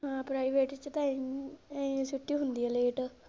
ਹਾਂ private ਚ ਪਏ ਨੇ ਛੁੱਟੀ ਹੁੰਦੀ ਆ late.